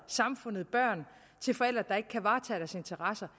samfundet børn til forældre der ikke kan varetage deres interesser